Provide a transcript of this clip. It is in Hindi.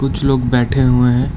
कुछ लोग बैठे हुए हैं।